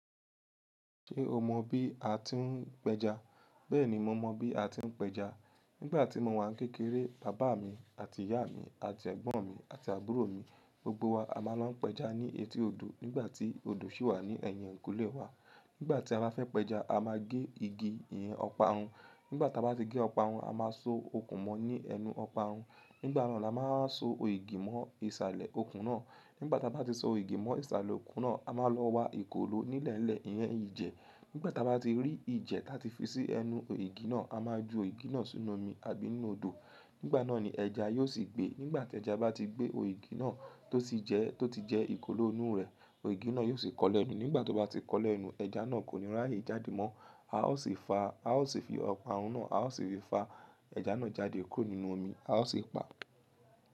Ṣé o mọ bí a ti ń pẹja? Bẹ́ẹ̀ni, mo mọ bí a ti ń pẹja. Nígbà tí mo wà ní kékeré, bàbá mi àti ìyá mi àti ẹ̀gbọ́n mi àti àbúrò mi, gbogbo wa a máa ń lọ pẹja ní etí odò nígbà tí odò sì wà ní ẹ̀yìn ekulé wa. Nígbà tí a bá fẹ́ pẹja, a máa gé igi ìyẹn ọparun. Nígbà tí a bá ti gé ọparun, a máa so okùn mọ ní ẹnu ọparun. Nígbà náà la máa so ògì mọ ìsàlẹ̀ okùn náà. Nígbà tí a bá ti so ògì mọ ìsàlẹ̀ okùn náà, a máa lọ wa ìkolò nílẹ́lẹ̀ ìyẹn ìjẹ. Nígbà tí a bá ti rí ìjẹ ta ti fi sí ẹnu ògì náà, a máa ju ògì náà sínú omi àbí nínú odò. Nígbà náà ni ẹja yóò sì gbé. Nígbà tí ẹja bá ti gbé, ògì náà tó ti jẹ́, tó ti jẹ́ ìkolò inú rẹ̀, ògì náà yóò sì kọlẹ́ nú. Nígbà tó bá ti kọlẹ́ nú, ẹja náà kò ní rààyè jáde mọ́. A ó sì fa, a ó sì fi ọparun náà, a ó sì fi fa ẹja náà jáde kúrò nínú omi. A ó sì pa.